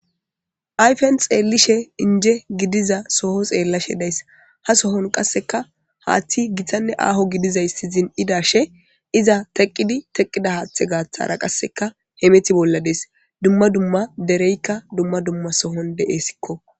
Afen xeellishe inje gidiza soho xeellashe days ha sohon qasseka haaththi gitanne aaho gidizay si zin7idashe iza teqqidi teqqida haaththe gaaththara qasseka hemeti bolla dees dumma dumma dereykka dumma dumma sohon de7essikko.